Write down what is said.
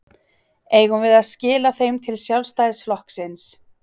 Eigum við að skila þeim til Sjálfstæðisflokksins?